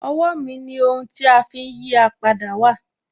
Owó mi ni ohun tí a fi ń yí à padà wà.